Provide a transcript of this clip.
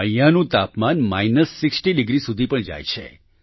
અહીંયાનું તાપમાન minus 60 degree સુધી પણ જાય છે